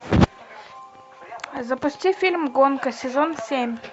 запусти фильм гонка сезон семь